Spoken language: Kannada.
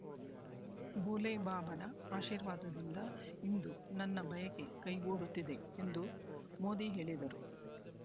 ಭೋಲೆ ಬಾಬಾನ ಆಶೀರ್ವಾದದಿಂದ ಇಂದು ನನ್ನ ಬಯಕೆ ಕೈಗೊಡುತ್ತಿದೆ ಎಂದು ಮೋದಿ ಹೇಳಿದರು